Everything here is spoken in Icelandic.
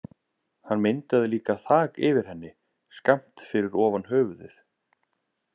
Hann myndaði líka þak yfir henni, skammt fyrir ofan höfuðið.